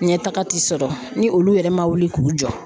Ɲɛtaga ti sɔrɔ ni olu yɛrɛ ma wili k'u jɔ